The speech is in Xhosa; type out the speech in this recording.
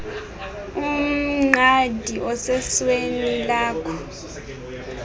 umqadi osesweni jakho